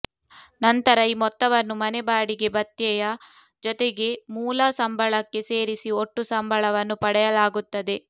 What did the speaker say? ನಂತರ ಈ ಮೊತ್ತವನ್ನು ಮನೆ ಬಾಡಿಗೆ ಭತ್ಯೆಯ ಜೊತೆಗೆ ಮೂಲ ಸಂಬಳಕ್ಕೆ ಸೇರಿಸಿ ಒಟ್ಟು ಸಂಬಳವನ್ನು ಪಡೆಯಲಾಗುತ್ತದೆ